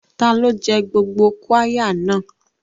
Ta ló jẹ gbogbo qirya náà?